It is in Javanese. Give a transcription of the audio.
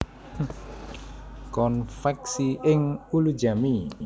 Konveksi ing Ulujami